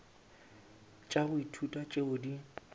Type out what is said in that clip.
tša go ithuta tšeo di